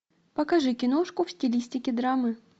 покажи киношку в стилистике драмы